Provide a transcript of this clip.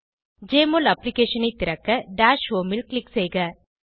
JMOL அப்ளிகேஷனை திறக்க dash homeல் க்ளிக் செய்க